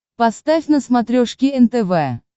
поставь на смотрешке нтв